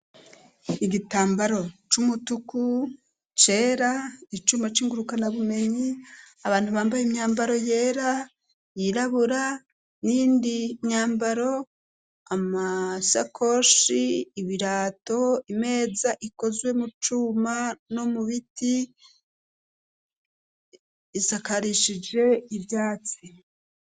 Igitambaro c'umutuku cera icuma cingurukana bumenyi abantu bambaye imyambaro yera yirabura n'indi myambaro amasakoshi ibirato imeza ikozwe mu cuma no mu biti isakarishije ivyatsi.